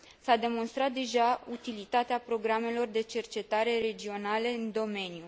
S a demonstrat deja utilitatea programelor de cercetare regionale în domeniu.